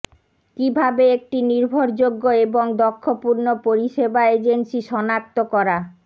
কিভাবে একটি নির্ভরযোগ্য এবং দক্ষ পূর্ণ পরিষেবা এজেন্সি সনাক্ত করা